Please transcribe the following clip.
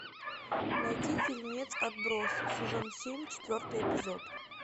найди фильмец отбросы сезон семь четвертый эпизод